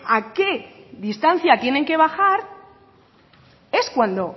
a qué distancia tienen que bajar es cuando